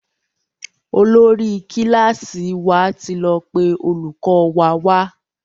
Olórí kílàsì wà tí lọ pé olùkó wa wá.